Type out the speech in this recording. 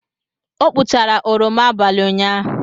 Ọ kpụchara oroma abalị ụnyaahụ.